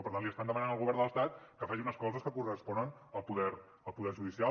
per tant li estan demanant al govern de l’estat que faci unes coses que corresponen al poder judicial